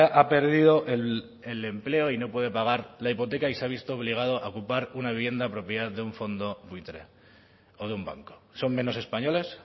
ha perdido el empleo y no puede pagar la hipoteca y se ha visto obligado a ocupar una vivienda propiedad de un fondo buitre o de un banco son menos españoles